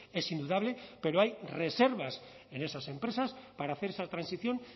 es indudable pero hay reservas en esas empresas para hacer esa transición